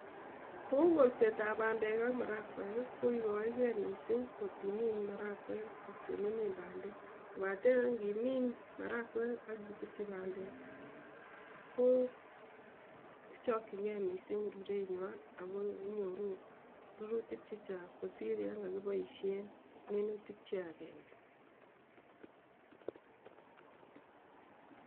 Kou kolsetap pandeek ak marakweek, koigaegee misiing kotimiin marakweek ak tun imiin pandeek kobaten ngimiin marakweek ak itesyi pandeek, kochakyinge misiing rurenywan ago inyoru rurutik chechang' kosir yon kokiboisien minutik che agenge